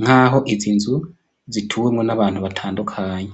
nk'aho izi nzu zituwemwo n'abantu batandukanye.